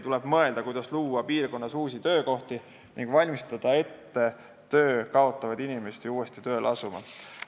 Tuleb mõelda, kuidas luua piirkonnas uusi töökohti ning valmistada töö kaotavaid inimesi ette uuesti tööleasumiseks.